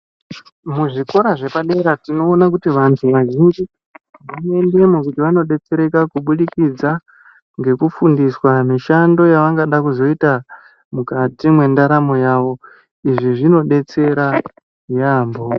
Muzvikora zvepadera tinoone kuti vantu vazhinji vanoendemo kuti vanodetsereka kubudikidza ngekufundiswa mishando yavangada kuzoita mukati mwendaramo yavo izvi zvinodetsera yaamho.